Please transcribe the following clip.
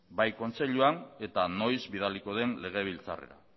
bai kontseiluan eta noiz bidaliko den legebiltzarrera